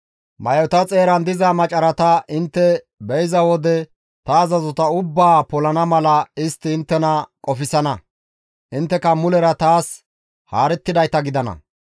May7ota xeeran diza macarata intte be7iza wode ta azazota ubbaa polana mala istti inttena qofsana; intteka mulera taas haarettidayta gidana.